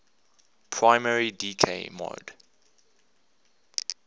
primary decay mode